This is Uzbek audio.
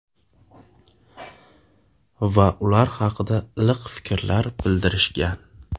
Va ular haqida iliq fikrlar bildirishgan.